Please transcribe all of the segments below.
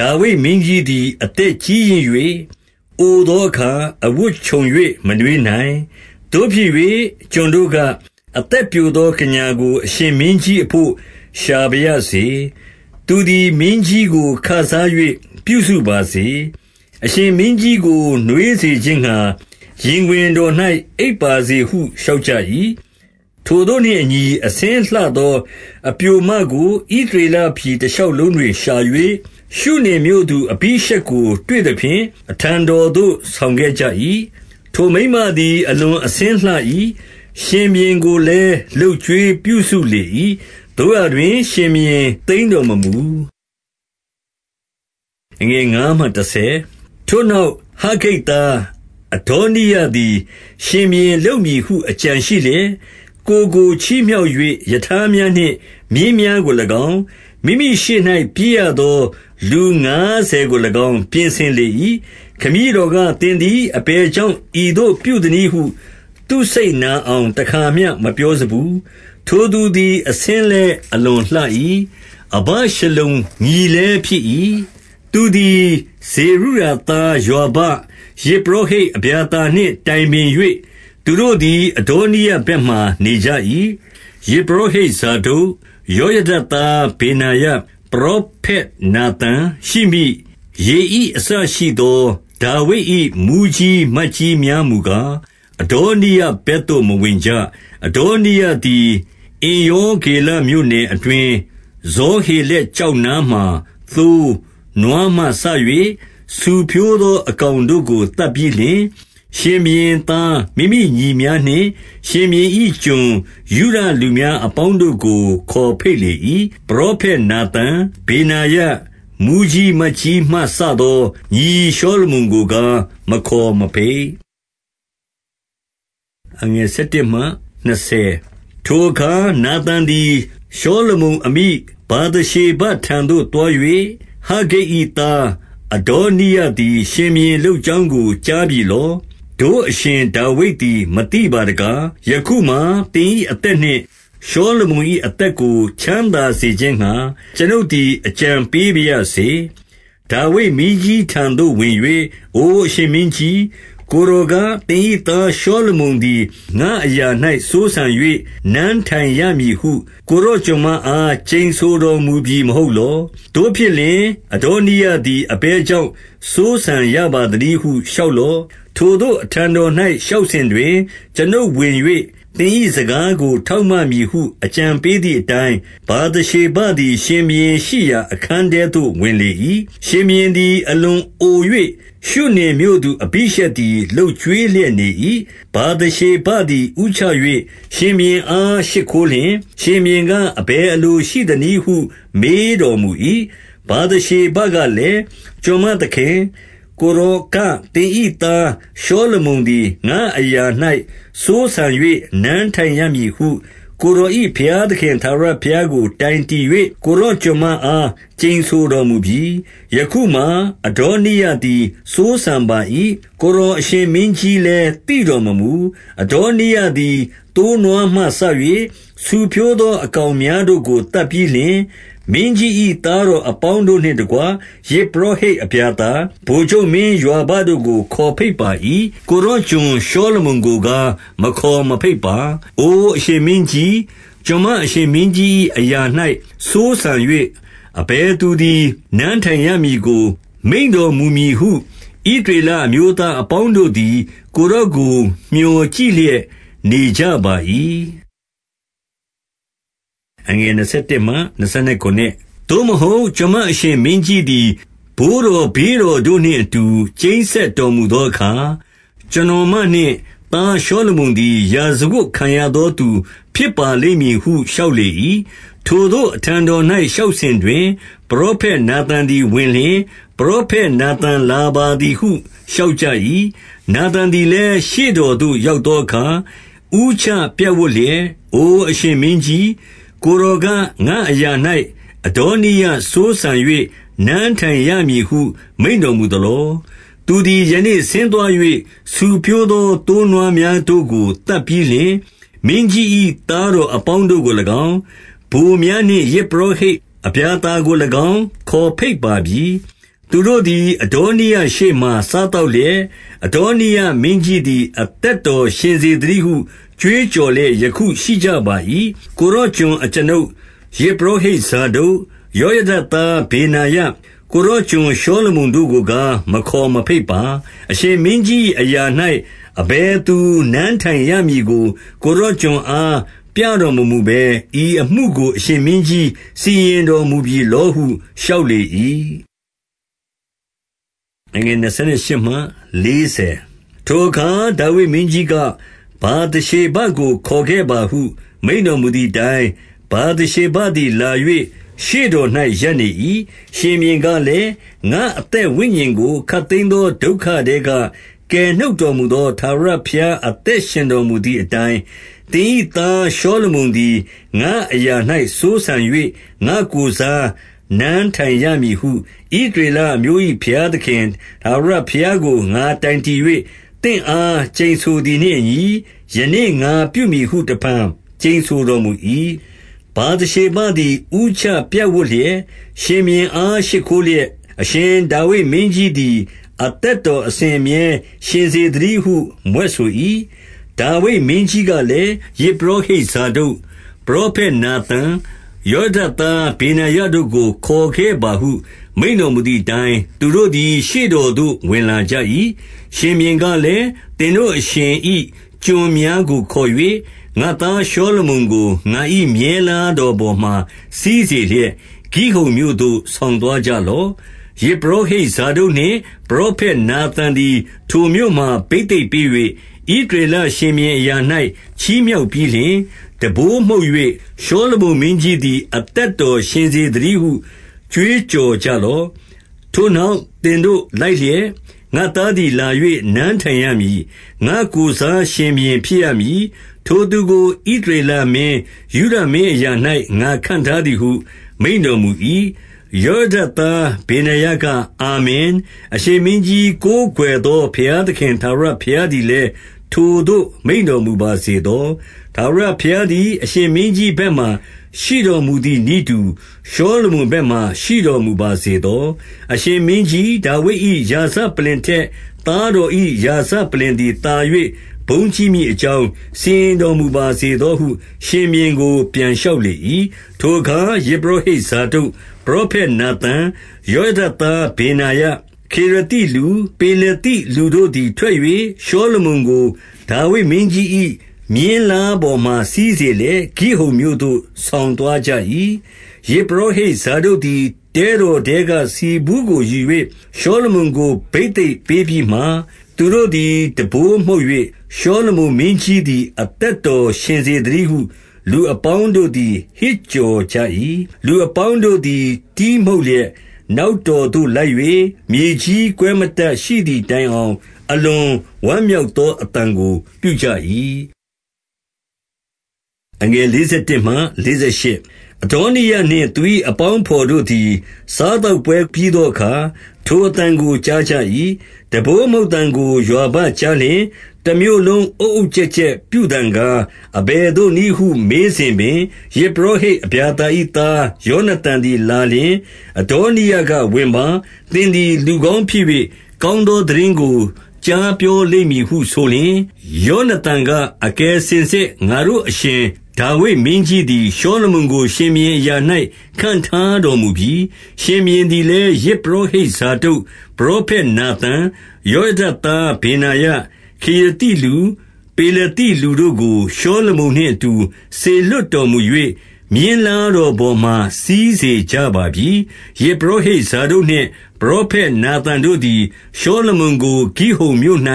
ဒါဝိဒ်မင်းကြီးသည် အသက်ကြီးရင့်၍ အိုသောအခါ အဝတ်ခြုံ၍ မနွေးနိုင်။ သို့ဖြစ်၍ ကျွန်တို့က၊ အသက်ပျိုသော ကညာကို အရှင်မင်းကြီးအဘို့ ရှာပါရစေ။ သူသည်မင်းကြီးကို ခစား၍ ပြုစုပါစေ။ အရှင်မင်းကြီးကို နွေးစေခြင်းငှါ ရင်ခွင်တော်၌ အိပ်ပါစေဟုလျှောက်ကြ၏။ ထိုသို့နှင့်အညီအဆင်းလှသောအပျိုမကို ဣသ ရေလပြည် တရှောက်လုံးတွင်ရှာ၍၊ ရှုနင်မြို့သူ အဘိရှက် ကို တွေ့သဖြင့် အထံတော်သို့ ဆောင်ခဲ့ကြ၏။ ထိုမိန်းမသည် အလွန်အဆင်းလှ၏။ ရှင်ဘုရင် ကိုလည်း လုပ်ကျွေးပြုစုလေ၏။ သို့ရာတွင် ရှင်ဘုရင် သိမ်းတော်မမူ။ ထိုနောက် ဟဂ္ဂိတ်သားအဒေါနိယသည် ရှင် ဘုရင်လုပ်မည်ဟု အကြံရှိလျက်၊ ကိုယ်ကိုချီးမြှောက်၍ ရထားများနှင့် မြင်းများကို၎င်း၊ မိမိရှေ့၌ပြေးရသော လူငါးဆယ်ကို၎င်း၊ ပြင်ဆင်လေ၏။ ခမည်းတော်က၊ သင်သည် အဘယ်ကြောင့် ဤသို့ပြုသနည်းဟု သူ့စိတ်နာအောင် တခါမျှမပြောစဖူး။ ထိုသူသည် အဆင်းလည်း အလွန်လှ၏။ အဗရှလုံညီ လည်း ဖြစ်၏။ သူသည်ဇေရုယာသား ယွာဘ၊ ယဇ်ပုရောဟိတ် အဗျာသာနှင့် တိုင်ပင်၍ သူတို့သည် အဒေါနိယဘက်မှာ နေကြ၏။ ယဇ်ပုရောဟိတ်ဇာဒုတ်၊ ယောယဒသားဗေနာ ယ၊ ပရောဖက်နာသန်၊ ရှိမိ၊ ရေဣအစရှိသော ဒါဝိဒ်၏ မှူးကြီးမတ်ကြီးများမူကား၊ အဒေါနိယဘက်သို့ မဝင်ကြ။ အဒေါနိယသည် အင်္ရောဂေလမြို့နယ်အတွင်း၊ ဇောဟေလက်ကျောက်နားမှာ သိုး၊ နွားမှစ၍ ဆူဖြိုးသော အကောင်တို့ကို သတ်ပြီးလျှင်၊ ရှင်ဘုရင်သား မိမိညီ များနှင့်ရှင်ဘုရင်၏ ကျွန်ယုဒလူများအပေါင်းတို့ကို ခေါ်ဘိတ်လေ၏။ ပရောဖက်နာသန်၊ ဗေနာယ၊ မှူးကြီးမတ်ကြီးမှ စသော ညီရှောလမုန်ကိုကား မခေါ်မဘိတ်။ ထိုအခါနာသန်သည် ရှောလမုန် အမိဗာသရှေဘထံသို့သွား၍၊ ဟဂ္ဂိတ်၏သား အဒေါနိယသည် ရှင်ဘုရင်လုပ်ကြောင်းကို ကြားပြီလော။ တို့အရှင်ဒါဝိဒ် သည် မသိပါတကား။ ယခုမှာသင်၏ အသက်နှင့် ရှောလမုန်၏ အသက်ကို ချမ်းသာစေခြင်းငှါ ကျွန်ုပ်သည် အကြံပေးပါ ရစေ။ ဒါဝိဒ်မင်းကြီးထံတော်သို့ဝင်၍၊ အိုအရှင် မင်းကြီး၊ ကိုယ်တော်က သင်၏သားရှောလမုန်သည် ငါ့အရာ၌ စိုးစံ၍ နန်းထိုင်ရမည်ဟု ကိုယ်တော် ကျွန်မ အား ကျိန်ဆိုတော်မူပြီမဟုတ်လော။ သို့ဖြစ်လျှင် အဒေါ နိယသည် အဘယ်ကြောင့် စိုးစံရပါသနည်းဟု လျှောက် လော့။ ထိုသို့အထံတော်၌ လျှောက်စဉ်တွင်၊ ကျွန်ုပ် ဝင်၍ သင်၏စကားကို ထောက်မမည်ဟု အကြံပေးသည် အတိုင်း၊ ဗာသရှေဘသည်ရှင်ဘုရင်ရှိရာ အခန်းထဲသို့ ဝင်လေ၏။ ရှင်ဘုရင်သည်အလွန်အို၍ ရှုနင်မြို့သူ အဘိရှက်သည် လုပ်ကျွေးလျက်နေ၏။ ဗာသရှေဘသည်ဦးချ၍ ရှင်ဘုရင်အား ရှိခိုးလျှင်။ ရှင်ဘုရင်က အဘယ်အလိုရှိသနည်းဟု မေးတော် မူ၏။ ဗာသရှေဘကလည်း၊ ကျွန်မသခင်၊ ကိုယ်တော် က သင်၏သား ရှောလမုန်သည်ငါ့အရာ၌ စိုးစံ၍နန်းထိုင် ရမည်ဟု ကိုယ်တော်၏ ဘုရားသခင် ထာဝရဘုရားကို တိုင်တည်၍ ကိုယ်တော်ကျွန်မအား ကျိန်ဆိုတော်မူပြီ။ ယခုမှာ အဒေါနိယသည်စိုးစံပါ၏။ ကိုယ်တော် အရှင်မင်းကြီးလည်း သိတော်မမူ။ အဒေါနိယသည် သိုးနွားမှစ၍ ဆူဖြိုးသော အကောင်များတို့ကို သတ်ပြီးလျှင်၊ မင်းကြီး၏ သားတော် အပေါင်းတို့နှင့်တကွ ယဇ်ပုရောဟိတ်အဗျာသာ၊ ဗိုလ်ချုပ် မင်းယွာဘတို့ကို ခေါ်ဘိတ်ပါ၏။ ကိုယ်တော် ကျွန် ရှောလမုန်ကိုကား မခေါ်မဘိတ်ပါ။ အိုအရှင်မင်းကြီး၊ ကျွန်မအရှင်မင်းကြီး၏ အရာ၌စိုးစံ၍ အဘယ်သူသည် နန်းထိုင်ရမည်ကို မိန့် တော်မူမည်ဟု ဣသရေလအမျိုးသားအပေါင်းတို့သည် ကိုယ်တော်ကို မြော်ကြည့်လျက်နေကြပါ၏။ သို့မဟုတ်ကျွန်မအရှင်မင်းကြီးသည် ဘိုးတော် ဘေးတော်တို့နှင့်အတူ ကျိန်းစက်တော်မူသောအခါ၊ ကျွန်တော်မနှင့် သားရှောလမုန်သည် ရာဇဝတ်ခံရသော သူဖြစ်ပါလိမ့်မည်ဟု လျှောက်လေ၏။ ထိုသို့အထံတော်၌ လျှောက်စဉ်တွင်၊ ပရောဖက် နာသန်သည် ဝင်လျှင် ပရောဖက်နာသန်လာပါသည်ဟု လျှောက်ကြ၏။ နာသန်သည်လည်း ရှေ့တော်သို့ ရောက်သော အခါ ဦးချပြပ်ဝပ်လျက်၊ အိုအရှင်မင်းကြီး၊ ကိုယ်တော်က ငါ့အရာ၌ အဒေါနိယစိုးစံ၍ နန်းထိုင်ရမည်ဟု မိန့်တော်မူသလော။ သူသည် ယနေ့ဆင်းသွား၍၊ ဆူဖြိုးသော သိုးနွား များတို့ကို သတ်ပြီးလျှင် မင်းကြီး၏သားတော်အပေါင်း တို့ကို၎င်း၊ ဗိုလ်များနှင့် ယဇ်ပုရောဟိတ်အဗျာသာကို၎င်း ခေါ်ဘိတ်ပါပြီ။ သူတို့သည် အဒေါနိယရှေ့မှာ စား သောက်လျက်၊ အဒေါနိယမင်းကြီးသည် အသက်ရှင်စေ သတည်းဟု ကြွေးကြော်လျက်ယခုရှိကြပါ၏။ ကိုယ်တော်ကျွန်အကျွန်ုပ်၊ ယဇ်ပုရောဟိတ် ဇာဒုတ်၊ ယောယဒသား ဗေနာယ၊ ကိုယ်တော်ကျွန် ရှောလမုန်တို့ကိုကား မခေါ်မဘိတ်ပါ။ အရှင်မင်းကြီး၏အရာ၌ အဘယ်သူနန်းထိုင် ရမည်ကို ကိုယ်တော် ကျွန်အားပြတော်မမူဘဲ ဤအမှုကို အရှင်မင်းကြီးစီရင်တော်မူပြီလောဟု လျှောက်၏။ ထိုအခါဒါဝိဒ်မင်းကြီးက၊ ဗာသရှေဘကို ခေါ်ခဲ့ ပါဟု မိန့်တော်မူသည်အတိုင်း၊ ဗာသရှေဘသည်လာ၍ ရှေ့တော်၌ ရပ်နေ၏။ ရှင်ဘုရင်ကလည်း၊ ငါ့အသက်ဝိညာဉ်ကို ခပ် သိမ်းသော ဒုက္ခထဲက ကယ်နှုတ်တော်မူသော ထာဝရ ဘုရား အသက်ရှင်တော်မူသည်အတိုင်း၊ သင်၏သားရှောလမုန်သည် ငါ့အရာ၌စိုးစံ၍ ငါ့ကိုယ်စားနန်းထိုင်ရမည်ဟု ဣသရေလအမျိုး၏ ဘုရား သခင်ထာဝရဘုရားကို ငါတိုင်တည်၍ သင့်အား ကျိန်ဆို သည်နှင့်အညီ ယနေ့ငါပြုမည်ဟု တဖန်ကျိန်ဆိုတော်မူ၏။ ဗာသရှေဘသည် ဦးချပြပ်ဝပ်လျက်၊ ရှင်ဘုရင် အား ရှိခိုးလျက်၊ အရှင်ဒါဝိဒ်မင်းကြီးသည် အသက်တော် အစဉ်အမြဲရှင်စေသတည်းဟု မြွက်ဆို၏။ ဒါဝိဒ်မင်းကြီးကလည်း၊ ယဇ်ပုရောဟိတ် ဇာဒုတ်၊ ပရောဖက် နာသန်၊ ယောယဒသား ဗေနာယ တို့ကို ခေါ်ခဲ့ပါဟု မိန့်တော်မူသည်အတိုင်း၊ သူတို့သည် ရှေ့တော်သို့ ဝင်လာကြ၏။ ရှင်ဘုရင်ကလည်း၊ သင်တို့အရှင်၏ ကျွန်များကို ခေါ်၍ ငါသားရှောလမုန်ကို ငါ၏မြင်းလားတော်ပေါ်မှာ စီးစေလျက်၊ ဂိဟုန်မြို့သို့ ဆောင်သွားကြလော့။ ယဇ်ပုရောဟိတ် ဇာဒုတ်နှင့် ပရောဖက် နာသန် သည် ထိုမြို့မှာ ဘိသိက်ပေး၍ ဣသရေလရှင်ဘုရင် အရာ၌ ချီးမြှောက်ပြီးလျှင်၊ တံပိုးမှုတ်၍ ရှောလမုန် မင်းကြီးသည် အသက်တော်ရှင်စေသတည်းဟု ကြွေး ကြော်ကြလော့။ ထိုနောက်သင်တို့လိုက်လျက် ငါ့သားသည်လာ၍ နန်းထိုင် ရမည်။ ငါ့ကိုယ်စားရှင်ဘုရင်ဖြစ်ရမည်။ ထိုသူကို ဣသရေလမင်း၊ ယုဒမင်းအရာ၌ ငါခန့်ထားသည်ဟု မိန့် တော်မူ၏။ ယောယဒသား ဗေနာယက အာမင်။ အရှင် မင်းကြီးကိုးကွယ်သော ဘုရားသခင်ထာဝရဘုရားသည် လည်း ထိုသို့မိန့်တော်မူပါစေသော။ ထာဝရဘုရားသည် အရှင်မင်းကြီးဘက်မှာ ရှိတော်မူသည်နည်းတူ ရှောလမုန်ဘက်မှာ ရှိတော်မူပါ စေသော။ အရှင်မင်းကြီးဒါဝိဒ်၏ ရာဇပလ္လင်ထက် သားတော်၏ ရာဇပလ္လင်သည်သာ၍ ဘုန်းကြီးမည် အကြောင်း စီရင်တော်မူပါစေသောဟု ရှင်ဘုရင်ကို ပြန်လျှောက်လေ၏။ ထိုအခါ ယဇ်ပုရောဟိတ်ဇာဒုတ်၊ ပရောဖက် နာသန်၊ ယောယံဒ သားဗေနာယ၊ ခေရသိလူ၊ ပေလသိ လူတို့သည် ထွက်၍ ရှောလမုန်ကို ဒါဝိဒ်မင်းကြီး၏ မြင်းလားပေါ်မှာ စီးစေလျက် ဂိဟုန်မြို့သို့ ဆောင်သွား ကြ၏။ ယဇ်ပုရောဟိတ်ဇာဒုတ်သည် တဲတော်ထဲက ဆီဘူးကိုယူ၍ ရှောလမုန်ကိုဘိသိက်ပေးပြီးမှ၊ သူတို့သည် တံပိုးမှုတ်၍၊ ရှောလမုန်မင်းကြီးသည် အသက်တော်ရှင် စေသတည်းဟု လူအပေါင်းတို့သည် ဟစ်ကြော်ကြ၏။ လူအပေါင်းတို့သည် တီးမှုတ်လျက် နောက် တော်သို့လိုက်၍၊ မြေကြီးကွဲမတတ်ရှိသည်တိုင်အောင် အလွန်ဝမ်းမြောက်သောအသံကို ပြုကြ၏။ အဒေါနိယနှင့် သူ၏အပေါင်းအဘော်တို့သည် စားသောက်ပွဲ ပြီးသောအခါ ထိုအသံကို ကြားကြ၏။ တံပိုးမှုတ်သံကိုယွာဘကြားလျှင်၊ တမြို့လုံး အုတ်အုတ် ကျက်ကျက်ပြုသံကား၊ အဘယ်သို့နည်းဟု မေးစဉ်ပင်၊ ယဇ်ပုရောဟိတ် အဗျာသာ၏သား ယောနသန် သည်လာလျှင်၊ အဒေါနိယကဝင်ပါ။ သင်သည် လူကောင်းဖြစ်၍၊ ကောင်းသောသိတင်းကို ကြားပြော လိမ့်မည်ဟု ဆိုလျှင်၊ ယောနသန်က၊ အကယ်စင်စစ် ငါတို့အရှင် ဒါဝိဒ်မင်းကြီးသည် ရှောလမုန်ကို ရှင်ဘုရင်အရာ၌ ခန့်ထားတော်မူပြီ။ ရှင်ဘုရင်သည်လည်း ယဇ်ပုရောဟိတ်ဇာဒုတ်၊ ပရောဖက်နာသန်၊ ယောယဒသားဗေနာယ၊ ခေရသိလူ၊ ပေလသိလူတို့ကို ရှောလမုန် နှင့်အတူ စေလွှတ်တော်မူ၍ မြင်းလားတော်ပေါ်မှာ စီးစေကြပါပြီ။ ယဇ်ပုရောဟိတ် ဇာဒုတ်နှင့် ပရောဖက်နာသန် တို့သည် ရှောလမုန်ကို ဂိဟုန်မြို့၌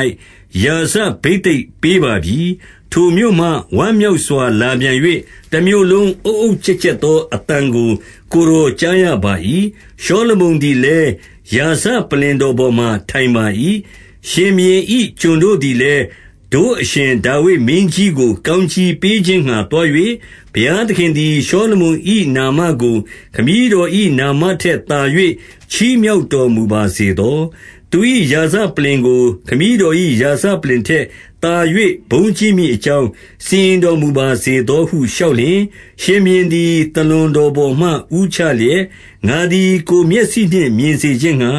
ရာဇဘိသိက်ပေးပါပြီ။ ထိုမြို့မှ ဝမ်းမြောက်စွာ လာပြန်၍၊ တမြို့လုံးအုတ်အုတ် ကျက်ကျက်သောအသံကို ကိုယ်တော်ကြားရပါ၏။ ရှောလမုန်သည်လည်း ရာဇပလ္လင်တော်ပေါ်မှာ ထိုင်ပါ၏။ ရှင်ဘုရင်၏ ကျွန်တို့သည်လည်း တို့အရှင် ဒါဝိဒ်မင်းကြီးကို ကောင်းကြီးပေးခြင်းငှါ သွား၍ဘုရား သခင်သည် ရှောလမုန်၏နာမကို ခမည်းတော်၏နာမ ထက်သာ၍ ချီးမြှောက်တော်မူပါစေသော။ သူ၏ရာဇ ပလ္လင်ကို ခမည်းတော်၏ ရာဇပလ္လင်ထက်သာ၍ ဘုန်းကြီးမည်အကြောင်း စီရင်တော်မူပါစေသောဟု လျှောက်လျှင်၊ ရှင်ဘုရင်သည် သာလွန်တော်ပေါ်မှာ ဦးချလျက်၊ ငါသည် ကိုယ်မျက်စိနှင့်မြင်စေခြင်းငှါ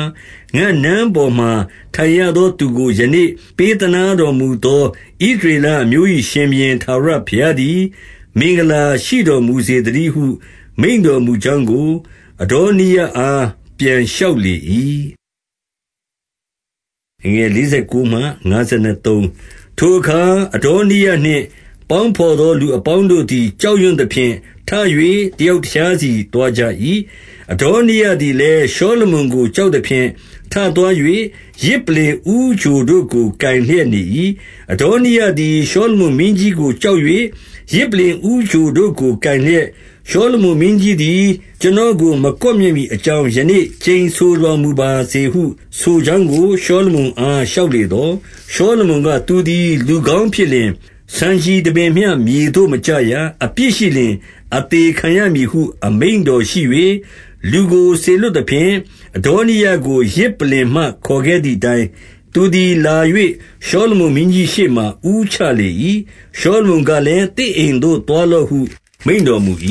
၊ ငါ့နန်း ပေါ်မှာ ထိုင်ရသော သူကို ယနေ့ပေးသနားတော်မူသော ဣသရေလအမျိုး၏ရှင်ဘုရင် ထာဝရဘုရားသည် မင်္ဂလာရှိတော်မူစေသတည်းဟု မိန့်တော်မူကြောင်းကို အဒေါနိယအား ပြန်လျှောက်လေ၏။ ထိုအခါ အဒေါနိယနှင့် ပေါင်းဘော်သော သူအပေါင်းတို့သည် ကြောက်ရွံ့သဖြင့် ထ၍ တယောက် တခြားစီ သွားကြ၏။ အဒေါနိယသည်လည်း ရှောလမုန်ကို ကြောက် သဖြင့် ထသွား၍ ယဇ်ပလ္လင်ဦးချိုတို့ကို ကိုင်လျက်နေ၏။ အဒေါနိယသည် ရှောလမုန်မင်းကြီးကို ကြောက်၍ ယဇ်ပလ္လင်ဦးချိုတို့ကို ကိုင်လျက်၊ ရှောလမုန် မင်းကြီးသည် ကျွန်တော်ကို မကွပ်မျက်မည်အကြောင်း ယနေ့ကျိန်ဆိုတော်မူပါစေဟုဆိုကြောင်းကို ရှောလမုန် အားလျှောက်လေသော်၊ ရှောလမုန်က၊ သူသည်လူကောင်းဖြစ်လျှင်၊ ဆံခြည်တပင်မျှ မြေသို့မကျရ။ အပြစ်ရှိလျှင် အသေခံရ မည်ဟု အမိန့်တော်ရှိ၍၊ လူကိုစေလွှတ်သဖြင့်၊ အဒေါနိယကို ယဇ်ပလ္လင် မှ ခေါ်ခဲ့သည်အတိုင်း၊ သူသည်လာ၍ ရှောလမုန်မင်းကြီး ရှေ့မှာ ဦးချလေ၏။ ရှောလမုန်ကလည်း၊ သင့်အိမ်သို့ သွားလော့ဟု မိန့်တော်မူ၏။